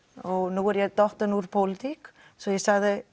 nú er ég dottin úr pólitík svo ég sagði